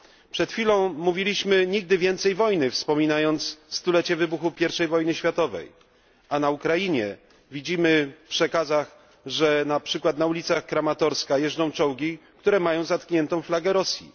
Przed chwilą mówiliśmy nigdy więcej wojny, wspominając 100 lecie wybuchu I wojny światowej, a na Ukrainie widzimy w przekazach, że na ulicach Kramatorska jeżdżą czołgi, które mają zatkniętą flagę Rosji.